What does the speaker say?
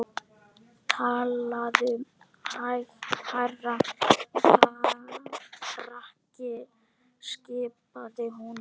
Talaðu hærra krakki skipaði hún.